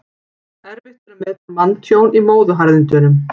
Erfitt er að meta manntjón í móðuharðindum.